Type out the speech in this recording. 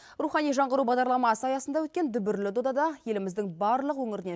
рухани жаңғыру бағдарламасы аясында өткен дүбірлі додада еліміздің барлық өңірінен